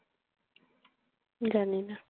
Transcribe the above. জানি না।